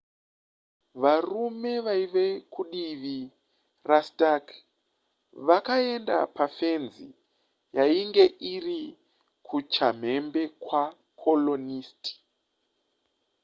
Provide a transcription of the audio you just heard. varume vaiva kudivi rastark vakaenda pafenzi yainge iri kuchamhembe kwacolonist